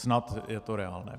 Snad je to reálné.